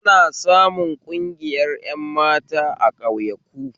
Ana samun ƙungiyar ƴan mata a ƙauyaku